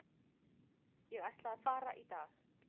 Ég ætla að fara í dag.